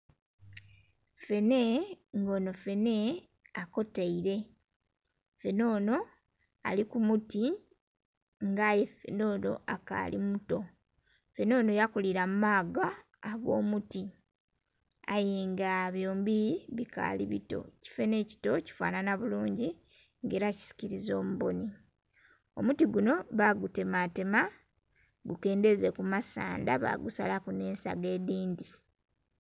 Fene nga ono fene akoteire, fene ono ali ku muti nga aye fene ono akaali muto. Fene ono yakulira mu maaga ag'omuti aye nga byombi bikaali bito, ekifene ekito kifanhanha bulungi nga ela kisikiriza omubonhi. Omuti guno bagutematema gukendheze kumasandha bagusalaku n'ensaga edhindhi.